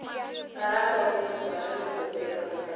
karata ro tshuka rini nghozi eka mutlangi